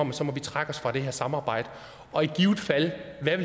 at så må vi trække os fra det her samarbejde og i givet fald